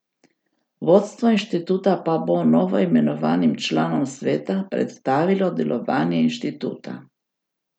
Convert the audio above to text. Vodstvo inštituta pa bo novoimenovanim članom sveta predstavilo delovanje inštituta.